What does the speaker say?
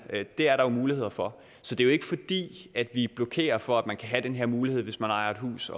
det er der jo muligheder for så det er jo ikke fordi vi blokerer for at man kan have den her mulighed hvis man ejer et hus